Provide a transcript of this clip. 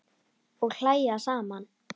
Og hlæja saman.